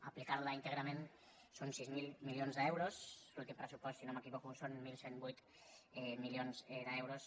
apli·car·la íntegrament són sis mil milions d’euros l’últim pressupost si no m’equivoco són onze zero vuit milions d’eu·ros